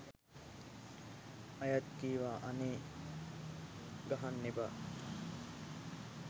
ඇයත් කීවා අනේ ගහන්න එපා